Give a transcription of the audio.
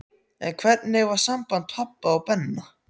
En hvernig var samband pabba og Benna?